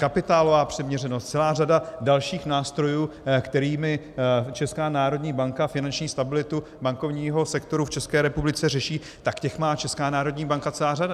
Kapitálová přiměřenost, celá řada dalších nástrojů, kterými Česká národní banka finanční stabilitu bankovního sektoru v České republice řeší, tak těch má Česká národní banka celou řadu.